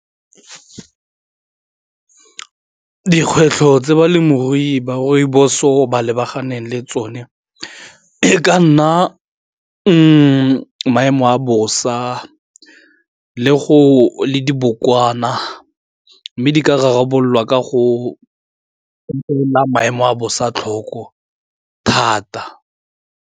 Dikgwetlho tse balemirui ba rooibos-o ba lebaganeng le tsone e ka nna maemo a bosa le dibokwana mme di ka rarabololwa ka go opela maemo a bosa tlhoko thata.